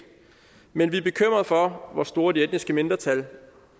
men vi er bekymret for hvor stort det etniske mindretal